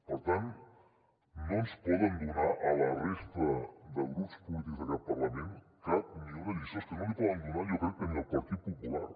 per tant no ens poden donar a la resta de grups polítics d’aquest parlament cap ni una lliçó és que no li poden donar jo crec que ni al partit popular